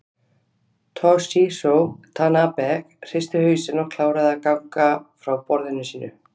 Toshizo Tanabe hristi hausinn og kláraði að gagna frá á borðinu sínu.